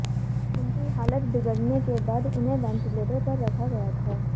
उनकी हालत बिगड़ने के बाद उन्हें वेंटिलेटर पर रखा गया था